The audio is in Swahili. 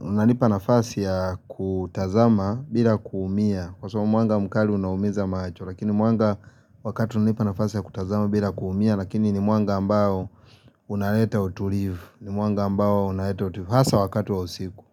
unanipa nafasi ya kutazama bila kuumia kwaa sababu mwanga mkali unaumiza macho lakini mwanga wakati unanipa nafasi ya kutazama bila kuumia Lakini ni mwanga ambao unaleta utulivu ni mwanga ambao unaletaa utulivu hasa wakati wa usiku.